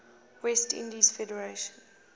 west indies federation